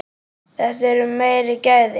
Þetta eru meiri gæði.